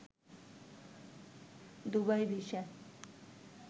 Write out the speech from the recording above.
Dubai visa